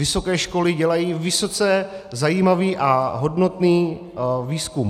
Vysoké školy dělají vysoce zajímavý a hodnotný výzkum.